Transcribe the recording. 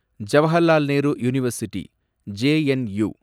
Jawaharlal Nehru university, JNU